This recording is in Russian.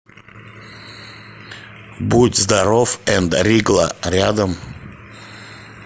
будь здоров энд ригла рядом